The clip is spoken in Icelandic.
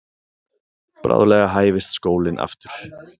Bráðlega hæfist skólinn aftur.